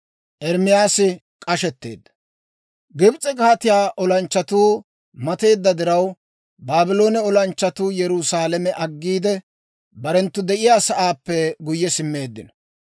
Gibs'e kaatiyaa olanchchatuu mateedda diraw, Baabloone olanchchatuu Yerusaalame aggiide, barenttu de'iyaa sa'aappe guyye simmeeddino.